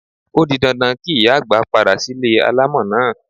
O di dandan kí ìyá àgbà padà sílé alámọ̀ náà.